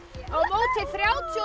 á móti þrjátíu og